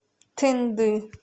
тынды